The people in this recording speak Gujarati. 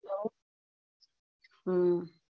હમ